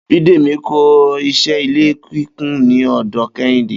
Bídèmí ń ko̩ is̩é̩ ilé kíkùn ní ò̩dò̩ Ké̩hìndé